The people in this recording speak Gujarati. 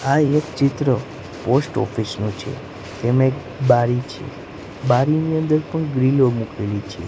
આ એક ચિત્ર પોસ્ટ ઓફિસ નુ છે તેમા એક બારી છે બારીની અંદર પણ ગ્રીલો મૂકેલી છે.